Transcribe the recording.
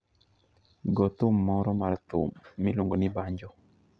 Go thum moro mar thum miluongo ni banjo.